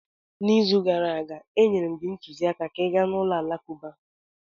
N’izu gara aga, enyere m gị ntụziaka ka ị gaa ulo alakụba.